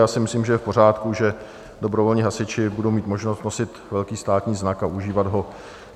Já si myslím, že je v pořádku, že dobrovolní hasiči budou mít možnost nosit velký státní znak a užívat ho.